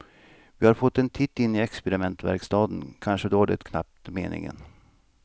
Vi har fått en titt in i experimentverkstaden, kanske var det knappt meningen.